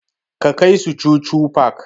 Ka kai su chuchu park!